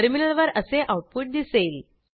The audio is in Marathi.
टर्मिनलवर असे आऊटपुट दिसेल